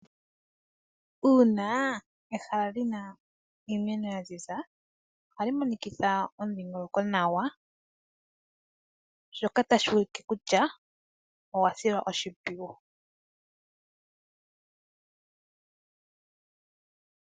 Uuna ehala lyi na iimeno ya ziza , ohali monikitha omudhingoloko nawa shoka tashi ulike kutya ogwa silwa oshimpwiyu.